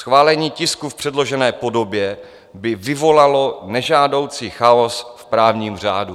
Schválení tisku v předložené podobě by vyvolalo nežádoucí chaos v právním řádu.